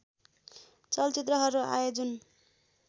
चलचित्रहरू आए जुन